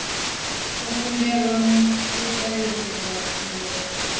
a kundelwa u tevhedzela ndaela